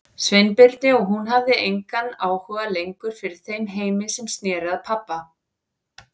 Sveinbirni og hún hafði engan áhuga lengur fyrir þeim heimi sem sneri að pabba.